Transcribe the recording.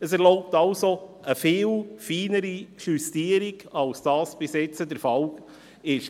Es erlaubt also eine viel feinere Justierung, als dies bis anhin der Fall war.